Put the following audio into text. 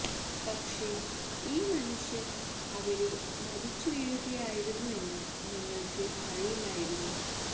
പക്ഷെ ഈ മനുഷ്യന് അവിടെ മരിച്ചു വീഴുകയായിരുന്നു എന്ന് ഞങ്ങള്ക്ക് അറിയില്ലായിരുന്നു